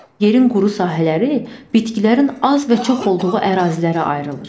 Yerin quru sahələri bitkilərin az və çox olduğu ərazilərə ayrılır.